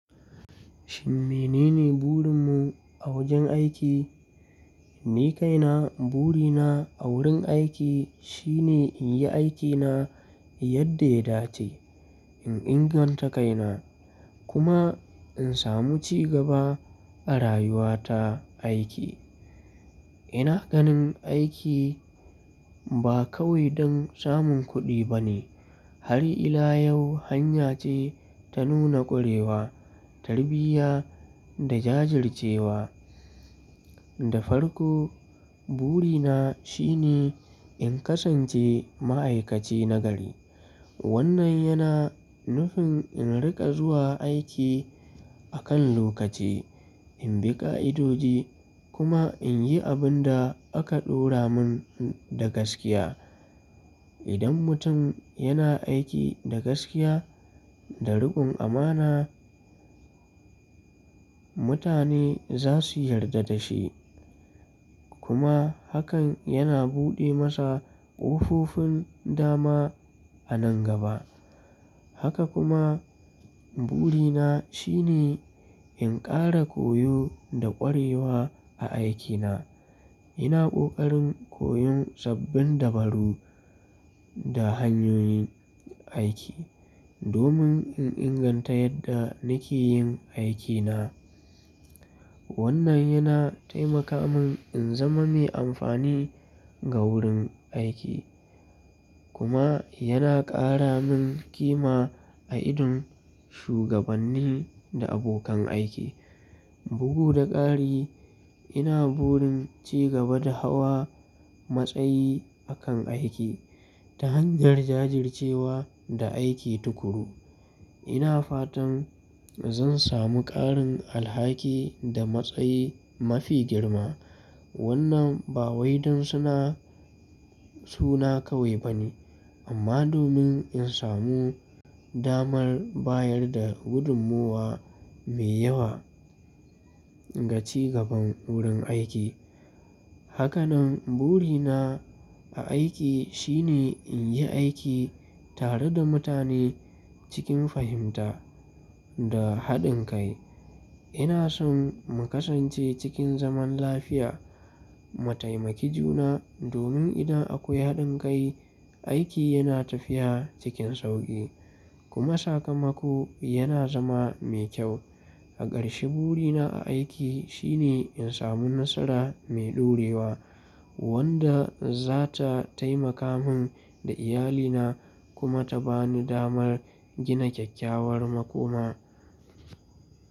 Shin menene burin mu a wajen aiki? Ni kaina, burina a wurin aiki shine in yi aikina yadda ya dace, in inganta kaina kuma in samu cigaba a rayuwa ta aiki. Ina ganin aiki ba kawai don samun kuɗi ba ne, har ila yau hanya ce ta nuna ƙwarewa, tarbiyya da jajircewa. Da farko, burina shine in kasance ma'aikaci nagari. Wannan yana nufin in riƙa zuwa aiki akan lokaci, in bi ƙa'idodi kuma in yi abin da aka ɗora mun da gaskiya. Idan mutum yana aiki da gaskiya da rukun amana, mutane za su yarda da shi kuma hakan yana buɗe masa ƙofofin dama a nan gaba. Haka kuma burina shine in ƙara koyo da ƙwarewa a aikina. Ina ƙoƙarin koyon sabbin dabaru da hanyoyin aiki domin in inganta yadda nake yin aikina. Wannan yana taimaka mun in zama mai amfani ga wurin aiki kuma yana ƙara mun ƙima a idon shugabanni da abokan aiki. Bugu da ƙari, ina burin cigaba da hawa matsayi akan aiki ta hanyar jajircewa da aiki tuƙuru. Ina fatan zan samu ƙarin alhaki da matsayi mafi girma. Wannan ba wai dan suna, suna kawai ba ne amma domin in samu damar bayar da gudunmuwa mai yawa ga ci gaban wurin aiki. Haka nan burina a aiki shine in yi aiki tare da mutane cikin fahimta da haɗin kai. Ina son mu kasance cikin zaman lafiya, mu taimaki juna domin idan akwai haɗin kai, aiki yana tafiya cikin sauƙi kuma sakamako yana zama mai kyau. A ƙarshe, burina a aiki shine in samu nasara mai ɗorewa wanda za ta taimaka mun da iyalina kuma ta bani damar gina kyakkyawar makoma.